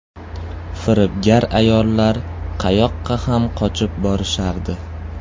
Firibgar ayollar qayoqqa ham qochib borishardi.